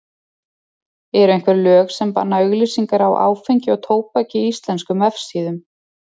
Eru einhver lög sem banna auglýsingar á áfengi og tóbaki á íslenskum vefsíðum?